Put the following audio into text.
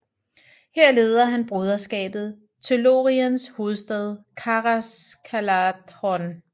Her leder han broderskabet til Lóriens hovedstad Caras Galadhon